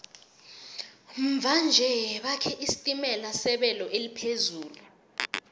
mva nje bakhe isitimela sebelo eliphezulu